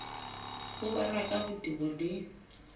ho balwa ka botebo le